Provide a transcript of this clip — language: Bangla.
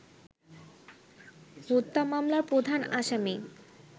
হত্যা মামলার প্রধান আসামি